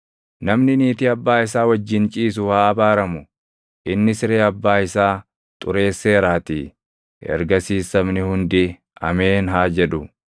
“Namni niitii abbaa isaa wajjin ciisu haa abaaramu; inni siree abbaa isaa xureesseeraatii.” Ergasiis sabni hundi, “Ameen!” haa jedhu.